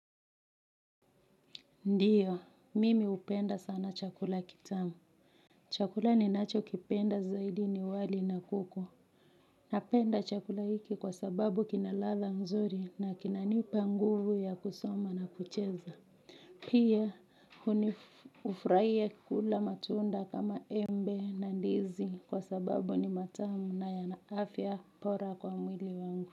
Ndiyo, mimi upenda sana chakula kitamu. Chakula ninachokipenda zaidi ni wali na kuku. Napenda chakula hiki kwa sababu kina ladha nzuri na kinanipa nguvu ya kusoma na kucheza. Pia, hunif hufraia kula matunda kama embe na ndizi kwa sababu ni matamu na yana afya pora kwa mwili wangu.